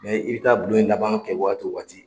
i bɛ taa bulon in laban kɛ waati waati